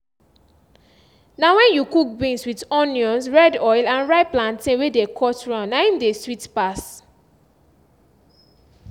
na wen you cook beans with onions red oil and ripe plantain wey dey cut round na im dey sweet pass